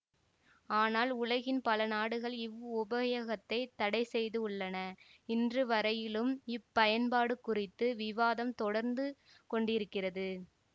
ஆனால் உலகின் பலநாடுகள் இவ்வுபயோகத்தைத் தடை செய்துள்ளன இன்றுவரையிலும் இப்பயன்பாடு குறித்து விவாதம் தொடர்ந்து கொண்டிருக்கிறது